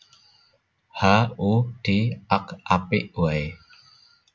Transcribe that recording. Ha u di ak Apik waé